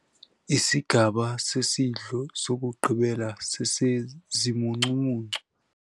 Isigaba sesidlo sokugqibela sesezimuncumuncu.